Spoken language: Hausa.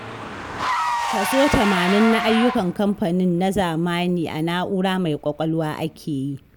Kaso tamanin na ayyukan kamfanin na zamani a na'ura mai ƙwaƙwalwa ake yi.